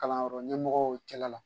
Kalan yɔrɔ ɲɛmɔgɔw cɛla la.